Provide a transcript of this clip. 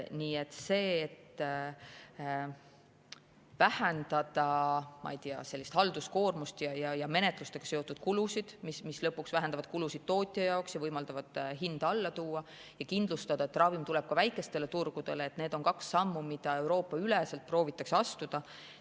Nii et see, et vähendada, ma ei tea, halduskoormust ja menetlustega seotud kulusid, mis lõpuks vähendavad kulusid tootja jaoks, võimaldavad hinda alla tuua ja kindlustada, et ravim tuleb ka väikestele turgudele – need on kaks sammu, mida Euroopa-üleselt proovitakse astuda.